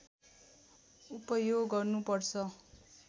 उपयोग गर्नुपर्छ